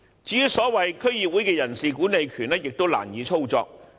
至於所謂區議會的人事管理權亦難以操作。